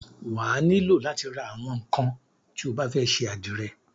Wà á nílò látí ra àwọn ńnkan tí o bá fẹ́ ṣe àdìrẹ.